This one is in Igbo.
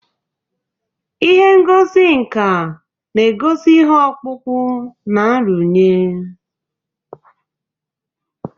Ụlọ ihe ngosi nka na-egosi ihe ọkpụkpụ na nrụnye.